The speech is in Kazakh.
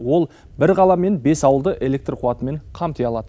ол бір қала мен бес ауылды электр қуатымен қамти алады